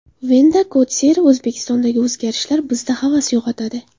Venta Kotsere: O‘zbekistondagi o‘zgarishlar bizda havas uyg‘otadi.